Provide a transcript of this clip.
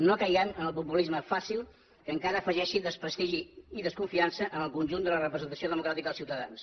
no caiguem en el populisme fàcil que encara afegeixi desprestigi i desconfiança en el conjunt de la representació democràtica als ciutadans